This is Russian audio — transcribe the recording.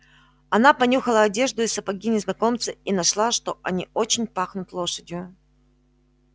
она понюхала одежду и сапоги незнакомца и нашла что они очень пахнут лошадью